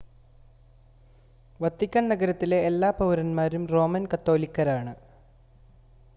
Vatican നഗരത്തിലെ എല്ലാ പൌരന്മാരും റോമൻ കത്തോലിക്കരാണ്